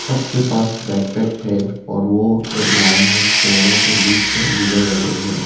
सबके पास bag pack है और वो एक लाइन में पेड़ो के बीच से गुजर रहे हैं।